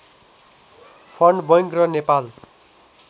fund bank र नेपाल